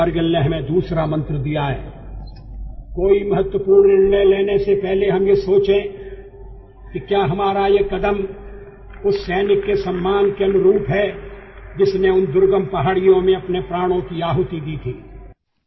ಕಾರ್ಗಿಲ್ ನಮಗೆ ಮತ್ತೊಂದು ಮಂತ್ರವನ್ನು ನೀಡಿದೆ ಯಾವುದೇ ಮಹತ್ವಪೂರ್ಣ ನಿರ್ಣಯ ಕೈಗೊಳ್ಳುವ ಮೊದಲು ನಾವು ಕೈಗೊಳ್ಳುವ ಈ ಕ್ರಮ ಆ ದುರ್ಗಮ ಪರ್ವತ ಪ್ರದೇಶಗಳಲ್ಲಿ ತನ್ನ ಪ್ರಾಣದ ಆಹುತಿಯನ್ನು ನೀಡಿದ ಆ ಸೈನಿಕನ ಗೌರವಕ್ಕೆ ತಕ್ಕುದಾಗಿದೆಯೇ